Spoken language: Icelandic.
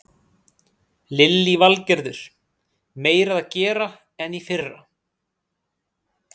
Lillý Valgerður: Meira að gera en í fyrra?